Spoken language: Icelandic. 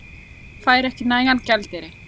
Fær ekki nægan gjaldeyri